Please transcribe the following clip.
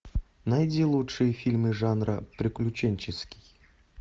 найди лучшие фильмы жанра приключенческий